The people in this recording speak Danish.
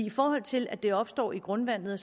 i forhold til at det opstår i grundvandet